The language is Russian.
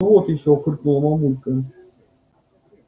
ну вот ещё фыркнула мамулька